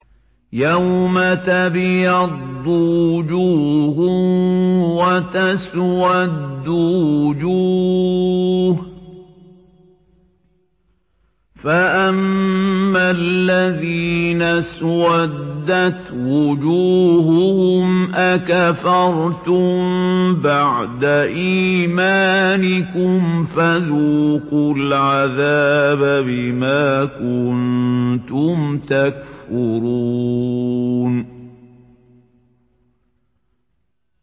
يَوْمَ تَبْيَضُّ وُجُوهٌ وَتَسْوَدُّ وُجُوهٌ ۚ فَأَمَّا الَّذِينَ اسْوَدَّتْ وُجُوهُهُمْ أَكَفَرْتُم بَعْدَ إِيمَانِكُمْ فَذُوقُوا الْعَذَابَ بِمَا كُنتُمْ تَكْفُرُونَ